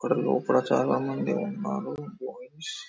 ఇక్కడ లోపల చాలా మంది ఉన్నారు బాయ్స్ --